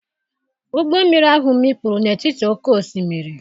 Ụgbọ mmiri ahụ mikpuru n’etiti oké osimiri.